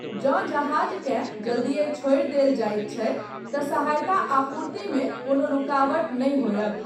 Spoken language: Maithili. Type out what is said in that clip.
जँ जहाजकेँ जल्दिए छोड़ि देल जाइत छै तँ सहायता आपूर्तिमे कोनो रुकावट नहि होयत।